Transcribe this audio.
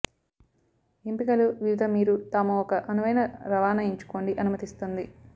ఎంపికలు వివిధ మీరు తాము ఒక అనువైన రవాణా ఎంచుకోండి అనుమతిస్తుంది